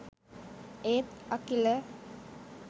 ඒත් අකිල